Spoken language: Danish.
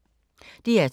DR2